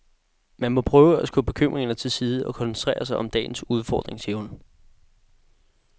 Man må prøve at skubbe bekymringer til side og koncentrere sig om dagens udfordring, siger hun.